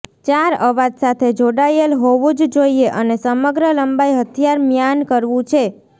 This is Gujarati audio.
ચાર અવાજ સાથે જોડાયેલ હોવું જ જોઈએ અને સમગ્ર લંબાઈ હથિયાર મ્યાન કરવું છે